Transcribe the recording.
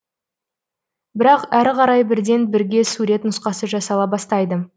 бірақ әрі қарай бірден бірге сурет нұсқасы жасала бастайды